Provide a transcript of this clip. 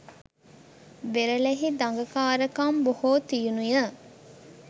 වෙරළෙහි දඟකාරකම් බොහෝ තියුණුය.